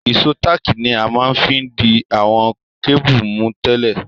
Ìsó tààkì ni a ma n fi di àwon cable mú tẹ́lẹ̀